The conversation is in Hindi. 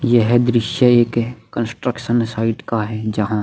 यह दृश्य एक कंस्ट्रक्शन साइड का है जहाँ --